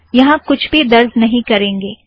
यहाँ कुछ भी दर्ज़ नहीं करेंगे